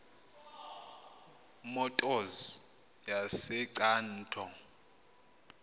motors yase cato